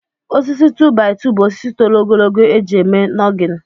Osisi 2-by-2 bụ osisi toro ogologo eji eme nọgịn